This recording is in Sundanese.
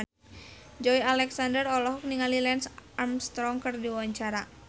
Joey Alexander olohok ningali Lance Armstrong keur diwawancara